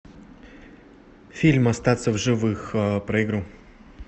фильм остаться в живых про игру